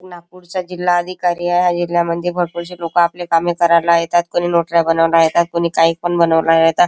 नागपुरचा जिल्हा आधिकारी आहे ह्या जिल्हा मधी भरपुर शे लोक आपले कामे करायला येतात कोणी नोटर्या बनवायला येतात कोणी कायपण बनुन येतात.